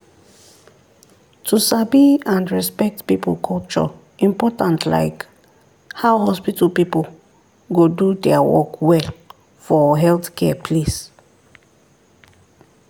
to sabi and respect people culture important like how hospital people go do their work well for healthcare place.